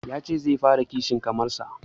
Ya ce zai fara kishin kasar sa